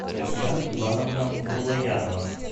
татьяна ивановна муллаярова